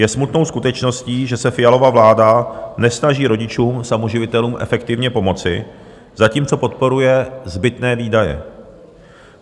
Je smutnou skutečností, že se Fialova vláda nesnaží rodičům samoživitelům efektivně pomoci, zatímco podporuje zbytné výdaje.